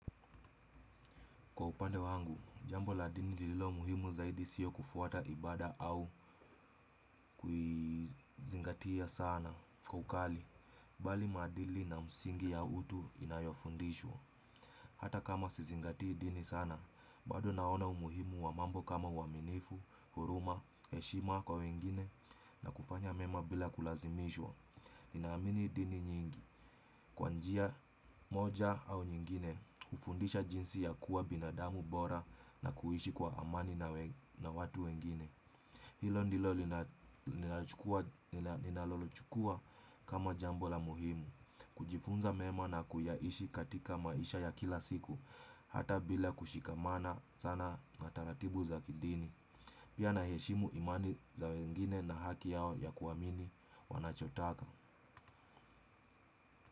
Kwa upande wangu, jambo la dini lilo muhimu zaidi siyo kufuata ibada au kuizingatia sana. Kwa ukali, bali maadili na msingi ya utu inayofundishwa. Hata kama sizingatii dini sana, bado naona umuhimu wamambo kama uwaminifu, huruma, heshima kwa wengine na kufanya mema bila kulazimishwa. Ninaamini dini nyingi. Kwa njia moja au nyingine, ufundisha jinsi ya kuwa binadamu bora na kuishi kwa amani na watu wengine. Hilo ndilo ninaloli chukua kama jambo la muhimu. Kujifunza mema na kuyaishi katika maisha ya kila siku, hata bila kushikamana sana na taratibu za kidini. Pia naheshimu imani za wengine na haki yao ya kuamini wanachotaka.